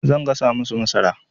Zan gasa masu masara.